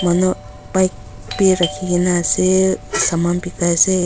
ano bike bhi rakhi kina ase saman bekai se.